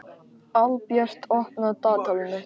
Albjört, opnaðu dagatalið mitt.